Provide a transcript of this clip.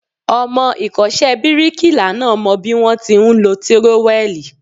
Ọmọ ìkọ́ṣẹ́ bíríkilà náà mọ bí wón ti ń lọ tírówẹ́lìì.